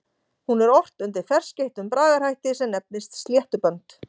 Hún er ort undir ferskeyttum bragarhætti sem nefnist sléttubönd.